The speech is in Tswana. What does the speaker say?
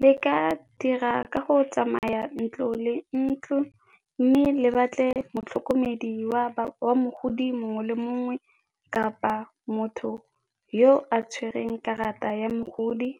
Le ka dira ka go tsamaya ntlo le ntlo mme le batle motlhokomedi wa mogodi mongwe le mongwe kapa motho yo a tshwereng karata ya mogodi